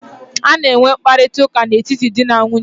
A na-enwe mkparịta ụka n'etiti di na nwunye.